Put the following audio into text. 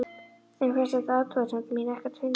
Þeim fannst þessi athugasemd mín ekkert fyndin.